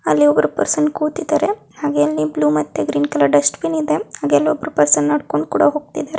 ಅಲ್ಲಿ ಒಬ್ಬ್ರು ಪರ್ಸನ್ ಕೂತಿದ್ದಾರೆ ಹಾಗೆ ಅಲ್ಲಿ ಬ್ಲೂ ಮತ್ತೆ ಗ್ರೀನ್ ಕಲರ್ ಡಸ್ಟ್ ಬಿನ್ ಇದೆ ಹಾಗೆ ಅಲ್ಲಿ ಒಬ್ಬ್ರು ಪರ್ಸನ್ ನೋಡ್ಕೊಂಡ್ ಕೂಡ ಹೋಗತ್ತಿದ್ದರೆ.